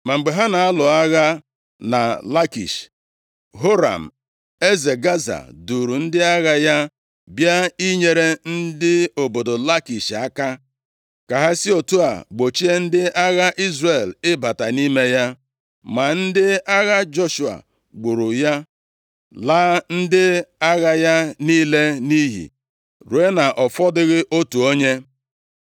Ma mgbe a na-alụ agha na Lakish, Horam eze Gaza, duuru ndị agha ya bịa inyere ndị obodo Lakish aka, ka ha si otu a gbochie ndị agha Izrel ịbata nʼime ya. Ma ndị agha Joshua gburu ya, laa ndị agha ya niile nʼiyi, ruo na ọ fọdụghị otu onye.